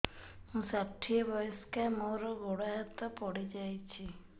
ମୁଁ ଷାଠିଏ ବୟସ୍କା ମୋର ଗୋଡ ହାତ ପଡିଯାଇଛି